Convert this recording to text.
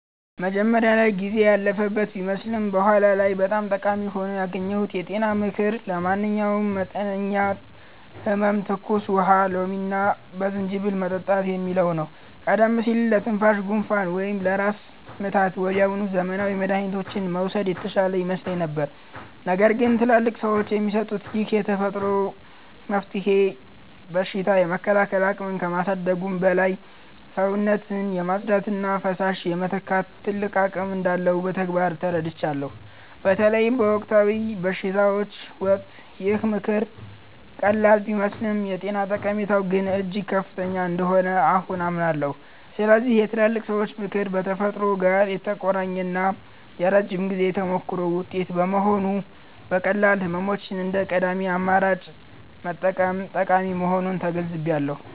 መጀመሪያ ላይ ጊዜ ያለፈበት ቢመስልም በኋላ ላይ በጣም ጠቃሚ ሆኖ ያገኘሁት የጤና ምክር 'ለማንኛውም መጠነኛ ህመም ትኩስ ውሃ በሎሚና በዝንጅብል መጠጣት' የሚለው ነው። ቀደም ሲል ለትንሽ ጉንፋን ወይም ለራስ ምታት ወዲያውኑ ዘመናዊ መድኃኒቶችን መውሰድ የተሻለ ይመስለኝ ነበር። ነገር ግን ትላልቅ ሰዎች የሚሰጡት ይህ የተፈጥሮ መፍትሄ በሽታ የመከላከል አቅምን ከማሳደጉም በላይ፣ ሰውነትን የማጽዳትና ፈሳሽ የመተካት ትልቅ አቅም እንዳለው በተግባር ተረድቻለሁ። በተለይ በወቅታዊ በሽታዎች ወቅት ይህ ምክር ቀላል ቢመስልም የጤና ጠቀሜታው ግን እጅግ ከፍተኛ እንደሆነ አሁን አምናለሁ። ስለዚህ የትላልቅ ሰዎች ምክር ከተፈጥሮ ጋር የተቆራኘና የረጅም ጊዜ ተሞክሮ ውጤት በመሆኑ፣ ለቀላል ህመሞች እንደ ቀዳሚ አማራጭ መጠቀም ጠቃሚ መሆኑን ተገንዝቤያለሁ።